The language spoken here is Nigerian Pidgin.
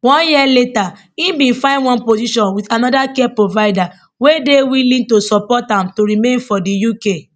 one year later im bin find one position wit anoda care provider wey dey willing to sponsor am to remain for di uk